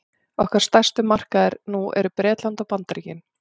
okkar stærstu markaðir nú eru bretland og bandaríkin